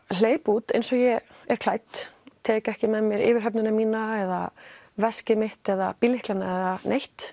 hleyp út eins og ég er klædd tek ekki með mér yfirhöfnina mína eða veskið mitt eða bíllyklana eða neitt